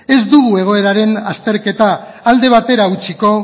ez dugu egoeraren azterketa alde batera utziko